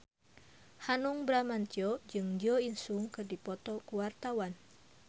Hanung Bramantyo jeung Jo In Sung keur dipoto ku wartawan